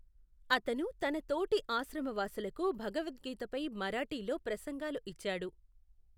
అతను తన తోటి ఆశ్రమవాసులకు భగవద్గీతపై మరాఠీలో ప్రసంగాలు ఇచ్చాడు.